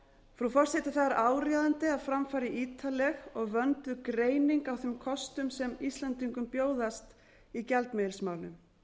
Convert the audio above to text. frú forseti það er áríðandi að fram fari ítarleg og vönduð greining á þeim kostum sem íslendingum bjóðast í gjaldmiðilsmálum